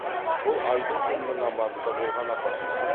бұл айдың күннің аманында болған апаттар